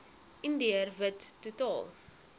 indiër wit totaal